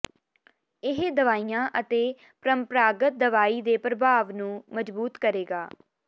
ਇਹ ਦਵਾਈਆਂ ਅਤੇ ਪਰੰਪਰਾਗਤ ਦਵਾਈ ਦੇ ਪ੍ਰਭਾਵ ਨੂੰ ਮਜਬੂਤ ਕਰੇਗਾ